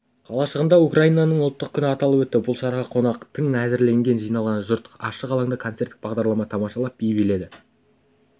қалашығында украинаның ұлттық күні аталып өтті бұл шараға қонақтар тың әзірленген жиналған жұрт ашық алаңда концерттік бағдарлама тамашалап би биледі